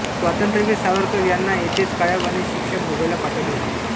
स्वातंत्र्यवीर सावरकर यांना येथेच काळ्या पाण्याची शिक्षा भोगायला पाठवले होते